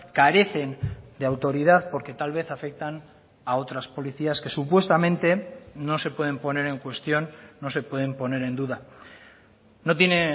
carecen de autoridad porque tal vez afectan a otras policías que supuestamente no se pueden poner en cuestión no se pueden poner en duda no tiene